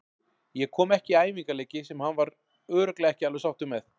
Ég kom ekki í æfingaleiki sem hann var örugglega ekki alveg sáttur með.